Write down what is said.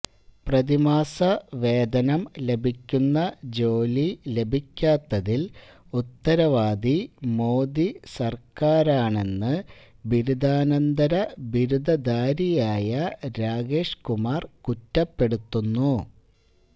പ്രതിമാസ വേതനം ലഭിക്കുന്ന ജോലി ലഭിക്കാത്തതില് ഉത്തരവാദി മോദി സര്ക്കാരാണെന്ന് ബിരുദാനന്തര ബിരുദധാരിയായ രാകേഷ് കുമാര് കുറ്റപ്പെടുത്തുന്നു